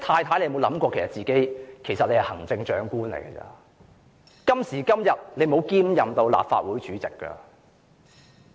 她有否想過自己其實只是行政長官，今時今日她並沒有兼任立法會主席？